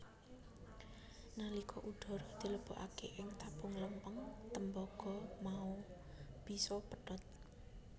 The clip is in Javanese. Nalika udhara dilebokake ing tabung lempeng tembaga mau bisa pedhot